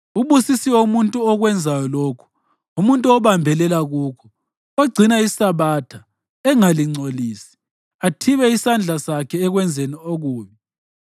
Ubusisiwe umuntu okwenzayo lokhu, umuntu obambelela kukho, ogcina iSabatha engalingcolisi, athibe isandla sakhe ekwenzeni okubi.”